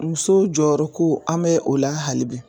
Muso jɔyɔrɔ ko an bɛ o la hali bi